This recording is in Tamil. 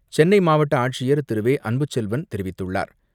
சென்னை மாவட்ட ஆட்சியர் திரு வே அன்புச்செல்வன் தெரிவித்துள்ளார்.